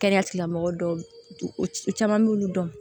Kɛnɛya tigilamɔgɔ dɔw caman b'olu dɔn